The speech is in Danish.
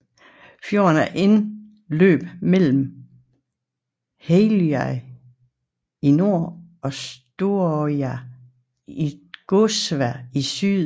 Fjorden har indløb mellem Helløya i nord og Storøya i Gåsvær i syd